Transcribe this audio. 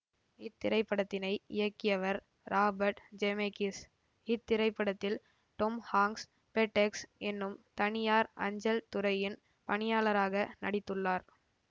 இத்திரைப்படத்தினை இயக்கிவர் Robert Zemeckis இத்திரைப்படத்தில் Tom Hanks FedEx என்னும் தனியார் அஞ்சல் துறையின் பணியாளராக நடித்துள்ளார்